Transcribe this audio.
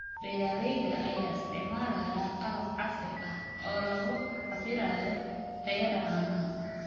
Beeralayda ayaa isticmaalaya qalab casri ah oo lagu cabbirayo tayada caanaha.